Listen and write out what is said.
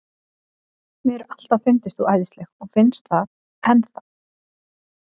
Mér hefur alltaf fundist þú æðisleg og finnst það enn þá.